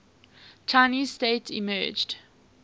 chinese state emerged